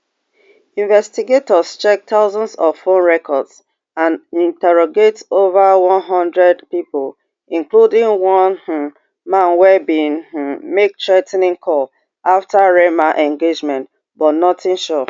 investigators check thousands of phone records and interrogate ova one hundred pipo including one um man wey bin um make threa ten ing call afta reema engagement but notin sure